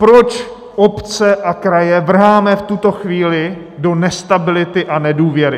Proč obce a kraje vrháme v tuto chvíli do nestability a nedůvěry?